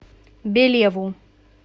белеву